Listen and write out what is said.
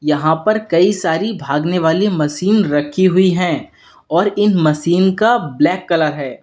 यहां पर कई सारी भागने वाली मशीन रखी हुई है और इन मशीन का ब्लैक कलर है।